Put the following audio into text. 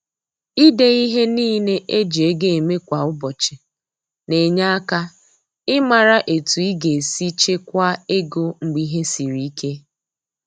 Ide ihe niile e ji ego eme kwa ụbọchị na-enye aka ịmara etu ị ga-esi chekwaa ego mgbe ihe siri ike.